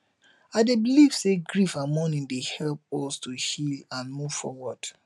i dey believe say grief and mourning dey help us to heal and move forward